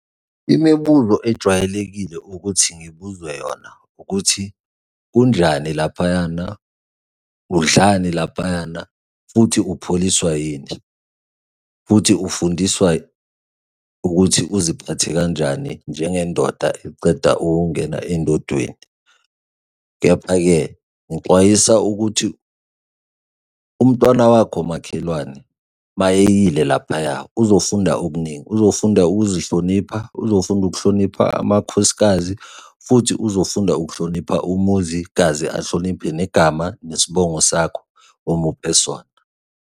Imibuzo ejwayelekile ukuthi ngibuzwe yona, ukuthi kunjani laphayana? Udlani laphayana? Futhi upholiswa yini? Futhi ufundiswa ukuthi uziphathe kanjani njengendoda eceda ukungena endodeni? Kepha-ke ngixwayisa ukuthi umntwana wakho makhelwane mayeyile laphaya, uzofunda okuningi, uzofunda ukuzihlonipha, uzofunda ukuhlonipha amakhosikazi, futhi uzofunda ukuhlonipha umuzi kaze ahloniphe negama nesibongo sakho omuphe sona.